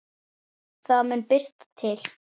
Það mun birta til.